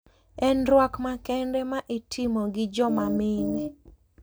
En rwak makende ma itimo gi joma mine.